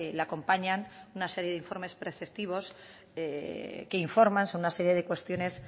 la acompañan una serie de informes preceptivos que informan sobre una serie de cuestiones